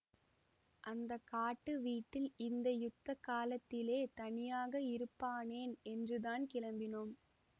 அந்த காட்டு வீட்டில் இந்த யுத்த காலத்திலே தனியாக இருப்பானேன் என்றுதான் கிளம்பினோம்